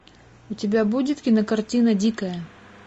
у тебя будет кинокартина дикая